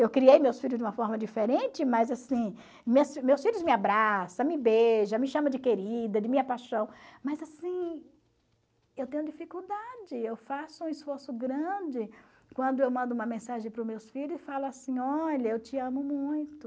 Eu criei meus filhos de uma forma diferente, mas assim, meus filhos me abraçam, me beijam, me chamam de querida, de minha paixão, mas assim, eu tenho dificuldade, eu faço um esforço grande quando eu mando uma mensagem para os meus filhos e falo assim, olha, eu te amo muito.